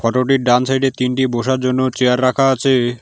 মোটামুটি ডান সাইড -এ তিনটি বসার জন্য চেয়ার রাখা আছে।